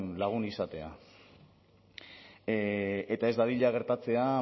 lagun izatea eta ez dadila gertatzea